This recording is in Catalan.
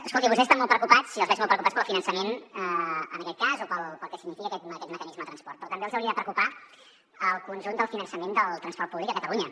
escolti vostès estan molt preocupats i els veig molt preocupats pel finançament en aquest cas o pel que significa aquest mecanisme de transport però també els hauria de preocupar el conjunt del finançament del transport públic a catalunya